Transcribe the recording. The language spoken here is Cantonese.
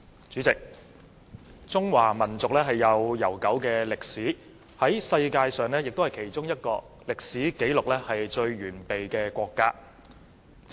主席，中華民族有悠久的歷史，也是世界上其中一個歷史紀錄最完備的國家。